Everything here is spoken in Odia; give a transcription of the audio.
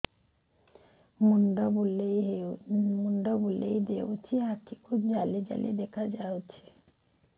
ମୁଣ୍ଡ ବୁଲେଇ ଦେଉଛି ଆଖି କୁ ଜାଲି ଜାଲି ଦେଖା ଯାଉଛି